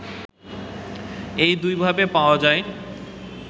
এই দুইভাবে পাওয়া যায়